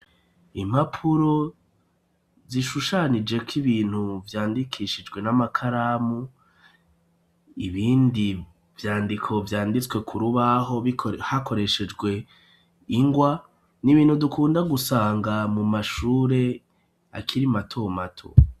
Impapuro zishushanijeko ibintu vyandikishijwe n'amakaramu ibindi vyandiko vyanditswe ku rubaho hakoreshejwe ingwa n'ibintu dukunda gusanga mu mashure akira matomato.